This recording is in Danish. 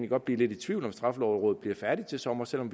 godt blive lidt i tvivl om at straffelovrådet bliver færdig til sommer selv om